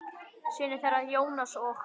Synir þeirra, Jónas og